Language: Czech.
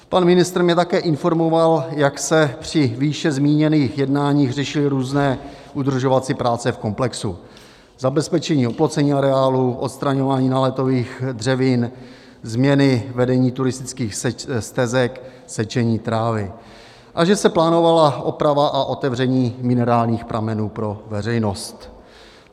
Pan ministr mě také informoval, jak se při výše zmíněných jednáních řešily různé udržovací práce v komplexu, zabezpečení oplocení areálu, odstraňování náletových dřevin, změny vedení turistických stezek, sečení trávy, a že se plánovala oprava a otevření minerálních pramenů pro veřejnost.